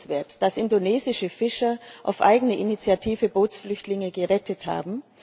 Es ist bewundernswert, dass indonesische Fischer auf eigene Initiative Bootsflüchtlinge gerettet haben.